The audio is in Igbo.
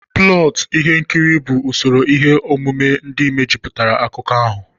Plọtụ Ihe nkiri bụ usoro ihe omume ndị mejupụtara akụkọ ahụ.